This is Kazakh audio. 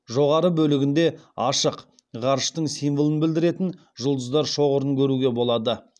жоғары бөлігінде ашық ғарыштың символын білдіретін жұлдыздар шоғырын көруге болады